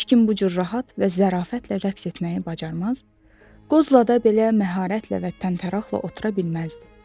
Heç kim bu cür rahat və zərafətlə rəqs etməyi bacarmaz, qozlada belə məharətlə və təntəraqlı otura bilməzdi.